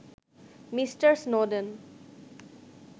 mister Snowden